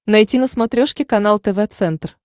найти на смотрешке канал тв центр